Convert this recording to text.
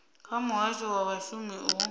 kha muhasho wa vhashumi u